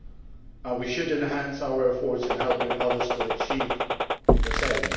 and we should enhance our efforts in helping others to achieve the same.